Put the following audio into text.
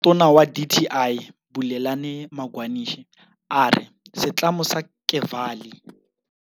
Motlatsatona wa dti Bulelani Magwanishe a re setlamo sa Kevali.